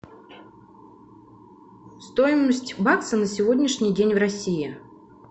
стоимость бакса на сегодняшний день в россии